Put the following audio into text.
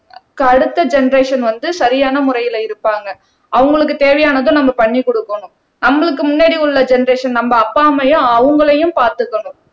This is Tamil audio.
அடுத்த ஜெனெரேஷன் வந்து சரியான முறையில இருப்பாங்க அவங்களுக்கு தேவையானதை நம்ம பண்ணி கொடுக்கணும் நம்மளுக்கு முன்னாடி உள்ள ஜெனெரேஷன் நம்ம அப்பா அம்மாவையும் அவங்களையும் பார்த்துக்கணும்